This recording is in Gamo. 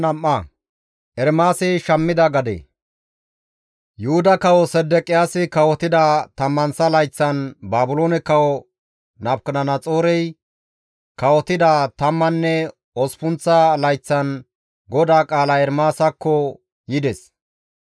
Yuhuda Kawo Sedeqiyaasi kawotida tammanththa layththan, Baabiloone Kawo Nabukadanaxoorey kawotida tammanne osppunththa layththan GODAA qaalay Ermaasakko yides.